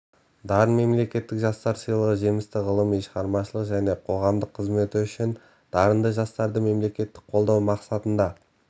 дарын мемлекеттік жастар сыйлығы жемісті ғылыми шығармашылық және қоғамдық қызметі үшін дарынды жастарды мемлекеттік қолдау мақсатында